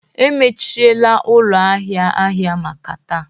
emechiela ụlọ ahịa ahịa maka taa